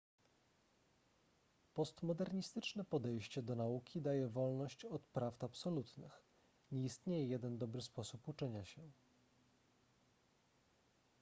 postmodernistyczne podejście do nauki daje wolność od prawd absolutnych nie istnieje jeden dobry sposób uczenia się